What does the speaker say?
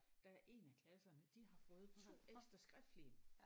Der er én af klasserne de har fået 2 ekstra skriftlige